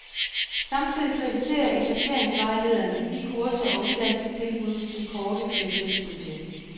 Samtidig kritiserer etableringsvejlederne de kurser og uddannelsestilbud, som kortet giver tilskud til.